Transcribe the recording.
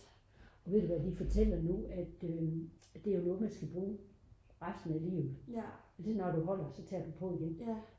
og ved du hvad de fortæller nu at det er noget man skal bruge resten af livet lige så snart du holder så tager du på igen